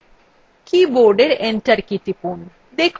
keyবোর্ডএর enter key টিপুন